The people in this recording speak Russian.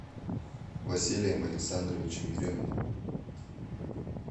василием александровичем ереминым